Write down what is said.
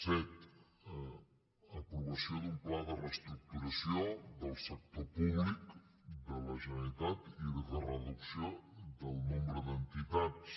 set aprovació d’un pla de reestructuració del sector públic de la generalitat i de reducció del nombre d’entitats